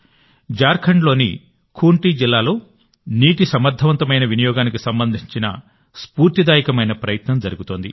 జార్ఖండ్లోని ఖూంటి జిల్లాలో నీటి సమర్ధవంతమైన వినియోగానికి సంబంధించిన స్ఫూర్తిదాయకమైన ప్రయత్నం జరుగుతోంది